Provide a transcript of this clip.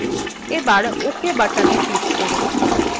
এবার ok buttonএ click করুন